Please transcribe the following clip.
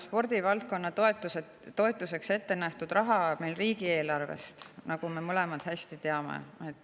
Spordivaldkonna toetuseks ettenähtud raha tuleb riigieelarvest, nagu me mõlemad hästi teame.